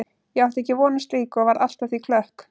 Ég átti ekki von á slíku og varð allt að því klökk.